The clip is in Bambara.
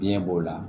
Biɲɛ b'o la